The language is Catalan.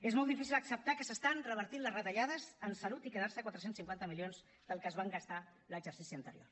és molt difícil acceptar que s’estan revertint les retallades en salut i quedar se a quatre cents i cinquanta milions del que es van gastar l’exercici anterior